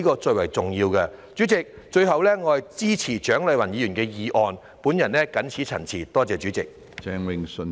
主席，最後，我支持蔣麗芸議員的議案，我謹此陳辭，多謝主席。